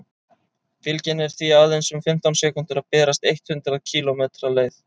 bylgjan er því aðeins um fimmtán sekúndur að berast eitt hundruð kílómetri leið